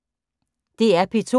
DR P2